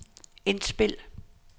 indspil